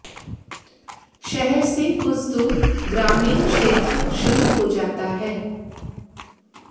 शहर से कुछ दूर ग्रामीण क्षेत्र शुरू हो जाता है